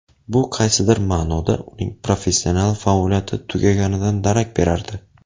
Bu qaysidir ma’noda uning professional faoliyati tugaganidan darak berardi.